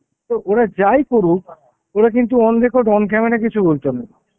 তো ওরা যাই করুক, ওরা কিন্তু on record, on camera কিছু বলতো না,